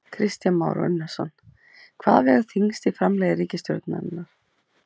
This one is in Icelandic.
Kristján Már Unnarsson: Hvað vegur þyngst í framlagi ríkisstjórnarinnar?